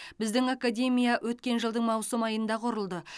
біздің академия өткен жылдың маусым айында құрылды